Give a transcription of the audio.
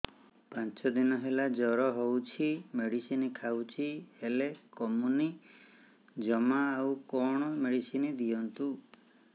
ପାଞ୍ଚ ଦିନ ହେଲା ଜର ହଉଛି ମେଡିସିନ ଖାଇଛି ହେଲେ କମୁନି ଜମା ଆଉ କଣ ମେଡ଼ିସିନ ଦିଅନ୍ତୁ